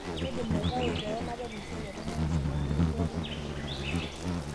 Kaidim aitau kewon nepal esiai etomononisho tentoki pooki nayieu naas